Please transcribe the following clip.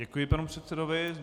Děkuji panu předsedovi.